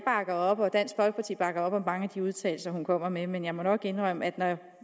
og dansk folkeparti bakker op om mange af de udtalelser hun kommer med men jeg må nok indrømme at når